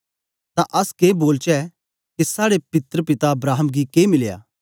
तां अस के बोलचै के साड़े पित्र पिता अब्राहम गी के मिलया